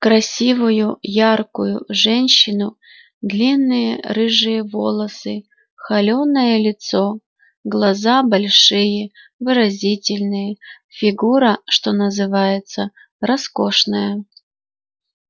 красивую яркую женщину длинные рыжие волосы холёное лицо глаза большие выразительные фигура что называется роскошная